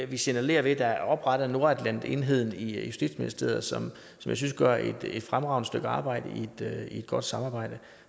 vi signalerer ved at der er oprettet nordatlantenheden i justitsministeriet som jeg synes gør et fremragende stykke arbejde i et godt samarbejde